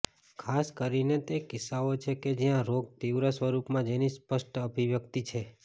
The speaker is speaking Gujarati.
ખાસ કરીને તે કિસ્સાઓ છે કે જ્યાં રોગ તીવ્ર સ્વરૂપમાં જેની સ્પષ્ટ અભિવ્યક્તિ છે